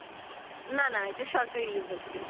না না এটা সরকারি university